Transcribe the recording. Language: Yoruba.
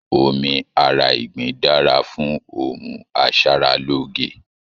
Omí ará ìgbín dára fún ohùn asaraloge.